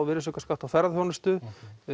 virðisaukaskatt á ferðaþjónustu